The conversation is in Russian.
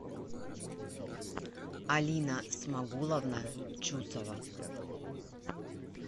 алина смагуловна чусова